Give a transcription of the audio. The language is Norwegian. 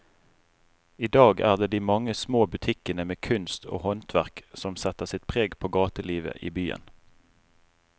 I dag er det de mange små butikkene med kunst og håndverk som setter sitt preg på gatelivet i byen.